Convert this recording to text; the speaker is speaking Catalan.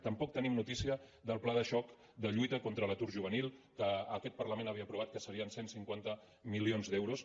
tampoc tenim notícia del pla de xoc de lluita contra l’atur juvenil que aquest parlament havia aprovat que serien cent i cinquanta milions d’euros